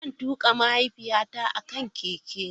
Zan tuka mahaifiyata a kan keke na.